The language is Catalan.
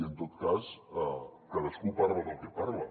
i en tot cas cadascú parla del que parla